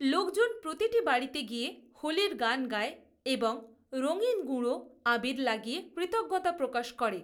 লোকজন প্রতিটি বাড়িতে গিয়ে হোলির গান গায় এবং রঙিন গুঁড়ো আবির লাগিয়ে কৃতজ্ঞতা প্রকাশ করে।